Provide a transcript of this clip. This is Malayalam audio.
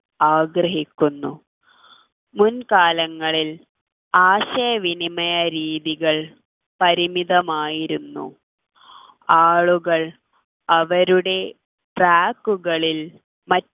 ആഗ്രഹിക്കുന്നു മുൻകാലങ്ങളിൽ ആശയവിനിമയ രീതികൾ പരിമിതമായിരുന്നു ആളുകൾ അവരുടെ track കളിൽ